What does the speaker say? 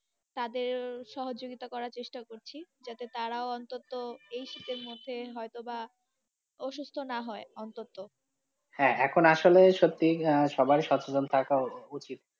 তাদের সহযোগিতা করার চেষ্টা করছি যাতে তারা ও অনন্ত এই শীতের মধ্যে হয়তো বা অসুস্থ না হয় অনন্ত, হ্যাঁ, এখন আসলেই সত্যি সবাই সচেতন থাকা উচিত।